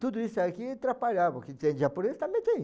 Tudo isso aqui atrapalhava, porque em japonês também tem.